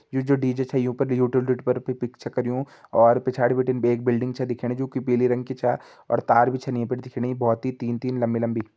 You जु डी.जे छ यु फर यूटिलिटी पर पिक्स करयूं और पिछाड़ी बिटिन एक बिल्डिंग छ दिखेणी जु कि पिली रंग की छा और तार भी छन ये फर दिखेणी बहोत ही तीन-तीन लम्बी-लम्बी।